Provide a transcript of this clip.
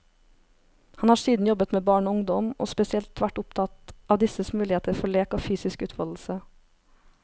Han har siden jobbet med barn og ungdom, og spesielt vært opptatt av disses muligheter for lek og fysisk utfoldelse.